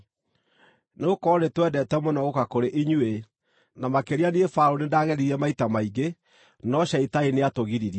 Nĩgũkorwo nĩtwendete mũno gũũka kũrĩ inyuĩ, na makĩria niĩ Paũlũ, nĩndageririe maita maingĩ no Shaitani nĩatũgiririe.